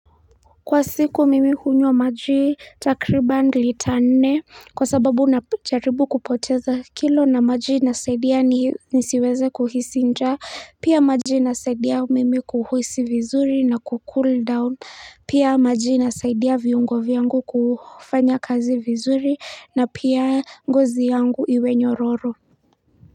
Kwa siku mimi hunywa maji takriban lita nne kwa sababu najaribu kupoteza kilo na maji inisaidia nisiweze kuhisi njaa pia maji inasaidia mimi kuhuhisi vizuri na kucool down pia maji inasaidia viungo vyangu kufanya kazi vizuri na pia ngozi yangu iwe nyororo.